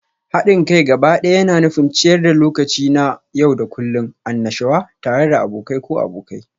Haɗin kai gabaɗaya yana nufin ciyar da lokaci na yau da kullun, annashuwa tare da abokai ko abokai.